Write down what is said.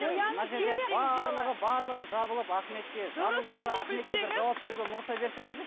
барлығы жабылып ахметке жабылып жатыр ахметке жауап беруге мұрша берсеңіздерші